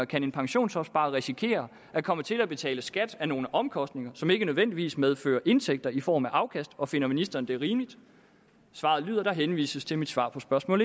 kan en pensionsopsparer risikere at komme til at betale skat af nogle omkostninger som ikke nødvendigvis medfører indtægter i form af afkast og finder ministeren det rimeligt svaret lyder der henvises til mit svar på spørgsmål